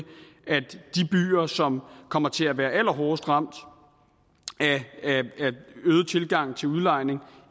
at de byer som kommer til at være allerhårdest ramt af en øget tilgang til udlejning